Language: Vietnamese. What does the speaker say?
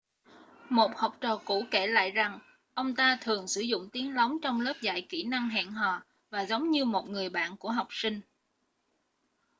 một học trò cũ kể lại rằng ông ta thường sử dụng tiếng lóng trong lớp dạy kỹ năng hẹn hò và giống như một người bạn của học sinh